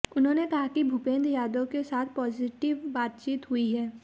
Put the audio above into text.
उन्होंने कहा कि भूपेन्द्र यादव के साथ पॉजिटिव बातचित हुई है